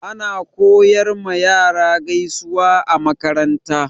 Ana koyar ma yara gaisuwa a makaranta.